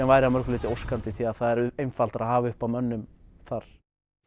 væri að mörgu leyti óskandi því það er einfaldara að hafa uppi á mönnum þar